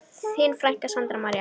Þín frænka, Sandra María.